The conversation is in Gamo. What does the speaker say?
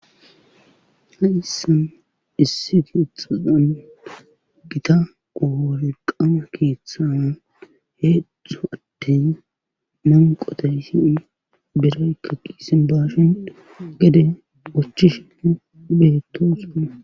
Ha issan issi kietxaqan gita oor qama keeththawan heedzdzo attey manqotay siin biraykka qiisin bashhin gede ochi shin beeto sona.